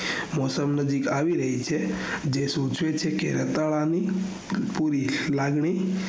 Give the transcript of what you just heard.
મોસમ નો week આવી રહી છે જે સોચે છે કે રૂપાળા ની પૂરી લાગણી